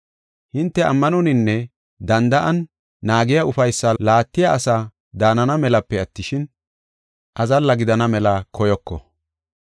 Hinte ammanoninne danda7an naagiya ufaysaa laattiya asaa daanana melape attishin, azalla gidana mela koyoko.